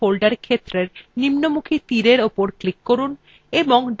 সুতরাং save in folder ক্ষেত্রের নিম্নমুখী তীরarrow উপর click করুন এবং ডেস্কটপ বিকল্পটির উপর click করুন